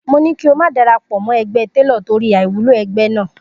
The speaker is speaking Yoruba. Mo ni kí o má darapọ̀ mọ́ ẹgbẹ́ Télò torí àìwúlò ẹgbẹ́ náà.